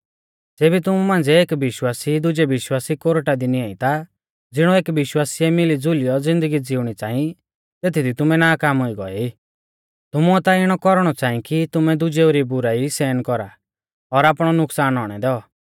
ज़ेबी तुमु मांझ़िऐ एक विश्वासी दुजै विश्वासी कोरटा दी निंआई ता ज़िणौ एक विश्वासी ऐ मिलीज़ुलियौ ज़िन्दगी ज़िउणी च़ांई तेथदी तुमै नाकाम हुई गौऐ ई तुमुऐ ता इणौ कौरणौ च़ांई कि तुमै दुजेऊ री बुराई सहन कौरा और आपणौ नुकसान औणै दैऔ